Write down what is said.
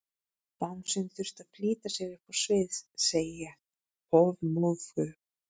Bangsinn þurfti að flýta sér upp á svið, segi ég hofmóðug.